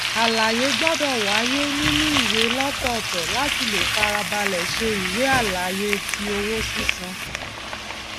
àlàyé gbọdọ wáyé nínú ìwé lọtọọtọ láti lè farabalẹ ṣe ìwé àlàyé ti owó sísan